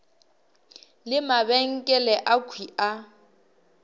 le mabenkele akhwi a ka